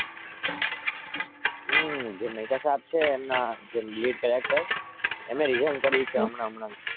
મહેતા સાહેબ જે છે જેમના લીડ કેરેક્ટર